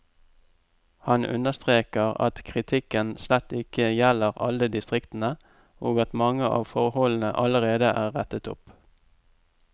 Han understreker at kritikken slett ikke gjelder alle distriktene, og at mange av forholdene allerede er rettet opp.